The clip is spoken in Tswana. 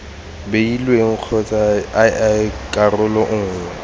beilweng kgotsa ii karolo nngwe